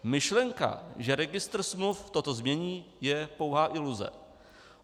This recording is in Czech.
Myšlenka, že registr smluv toto změní, je pouhá iluze.